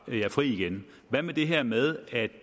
jer fri igen hvad med det her med at